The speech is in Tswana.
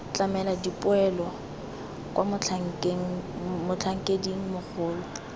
tlamela dipoelo kwa motlhankeding mogolo